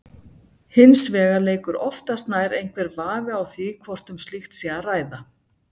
Hins vegar leikur oftast nær einhver vafi á því hvort um slíkt sé að ræða.